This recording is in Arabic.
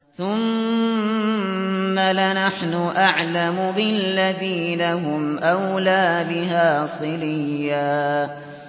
ثُمَّ لَنَحْنُ أَعْلَمُ بِالَّذِينَ هُمْ أَوْلَىٰ بِهَا صِلِيًّا